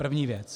První věc.